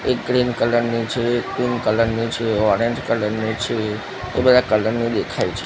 એક green colour ની છે પિંક કલર ની છે ઓરેન્જ કલર ની છે એ બધા કલર ની દેખાય છે.